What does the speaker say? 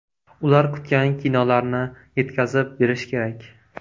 Ular kutgan kinolarni yetkazib berish kerak.